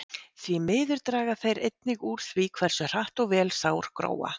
Því miður draga þeir einnig úr því hversu hratt og vel sár gróa.